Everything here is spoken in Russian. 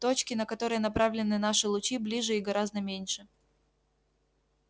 точки на которые направлены наши лучи ближе и гораздо меньше